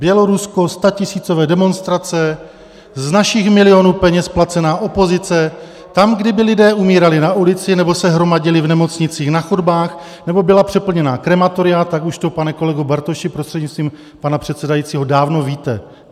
Bělorusko - statisícové demonstrace, z našich milionů peněz placená opozice, tam kdyby lidé umírali na ulici nebo se hromadili v nemocnicích na chodbách nebo byla přeplněná krematoria, tak už to, pane kolego Bartoši, prostřednictvím pana předsedajícího, dávno víte.